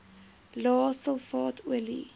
lae sulfaat olie